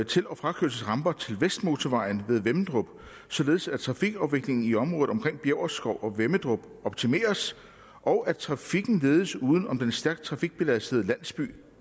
til og frakørselsramper til vestmotorvejen ved vemmedrup således at trafikafviklingen i området omkring bjæverskov og vemmedrup optimeres og at trafikken ledes uden om den stærkt trafikbelastede landsby